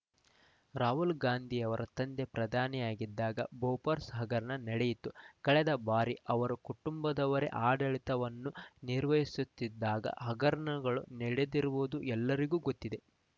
ರಾಹುಲ್‌ ಗಾಂಧಿಯವರ ತಂದೆ ಪ್ರಧಾನಿಯಾಗಿದ್ದಾಗ ಬೋಫೋರ್ಸ್‌ ಹಗರಣ ನಡೆಯಿತು ಕಳೆದ ಬಾರಿ ಅವರ ಕುಟುಂಬದವರೇ ಆಡಳಿತವನ್ನು ನಿರ್ವಹಿಸುತ್ತಿದ್ದಾಗ ಹಗರಣಗಳು ನಡೆದಿರುವುದು ಎಲ್ಲರಿಗೂ ಗೊತ್ತಿದೆ